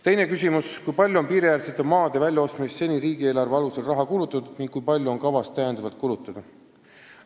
Teine küsimus: "Kui palju on piiriäärsete maade väljaostmiseks seni riigieelarve alusel raha kulutatud ning kui palju on kavas täiendavalt kulutada?